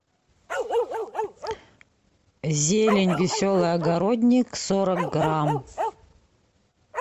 зелень веселый огородник сорок грамм